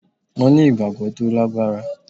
Mo ní ìgbàgbọ́ tó lágbára